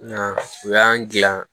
u y'an gilan